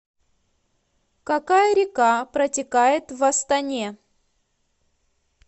какая река протекает в астане